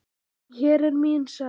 Hér er mín saga.